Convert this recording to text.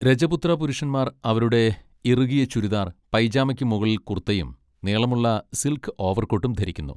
രജപുത്ര പുരുഷന്മാർ അവരുടെ ഇറുകിയ ചുരിദാർ പൈജാമയ്ക്ക് മുകളിൽ കുർത്തയും നീളമുള്ള സിൽക്ക് ഓവർകോട്ടും ധരിക്കുന്നു.